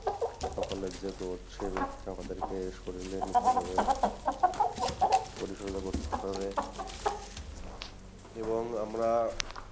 সকালের যে রোদ সেই রোদটা আমাদেরকে শরীরে নিতে হবে, করতে হবে এবং আমরা,